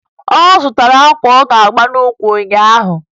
Ọ zụtara akwa ọ ga-ama n'ukwu ụnyaahụ